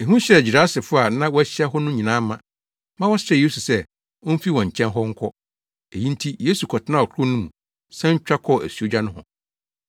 Ehu hyɛɛ Gerasefo a na wɔahyia wɔ hɔ no nyinaa ma, ma wɔsrɛɛ Yesu sɛ omfi wɔn nkyɛn hɔ nkɔ. Eyi nti, Yesu kɔtenaa ɔkorow no mu san twa kɔɔ asuogya nohɔ.